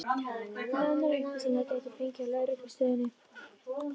Nánari upplýsingar gæti hún fengið á lögreglustöðinni.